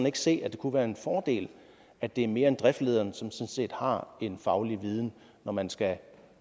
ikke se at det kunne være en fordel at det er mere end bedriftlederen som sådan set har en faglig viden når man skal